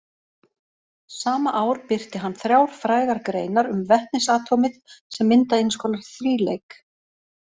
Sama ár birti hann þrjár frægar greinar um vetnisatómið sem mynda eins konar þríleik.